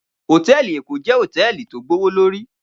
Hótèlí Ékó jè hótèlí tó gbówólóri